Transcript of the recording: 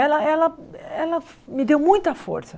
Ela ela ela me deu muita força.